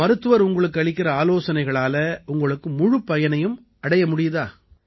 இப்ப மருத்துவர் உங்களுக்கு அளிக்கற ஆலோசனைகளால உங்களுக்கு முழுப் பயனையும் அடைய முடியுதா